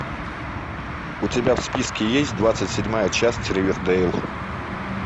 у тебя в списке есть двадцать седьмая часть ривердэйл